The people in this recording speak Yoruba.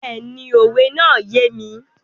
Bẹ́ẹ̀ni, òwe náà yé mi.